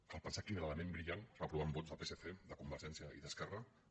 cal pensar quina era la ment brillant es va aprovar amb vots del psc de convergència i d’esquerra que